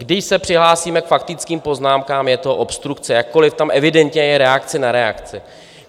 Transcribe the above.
Když se přihlásíme k faktickým poznámkám, je to obstrukce, jakkoliv tam evidentně je reakce na reakci.